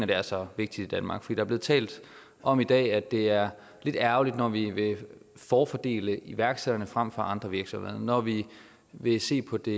det er så vigtigt i danmark der er blevet talt om i dag at det er lidt ærgerligt når vi vil forfordele iværksætterne frem for andre virksomheder når vi vil se på det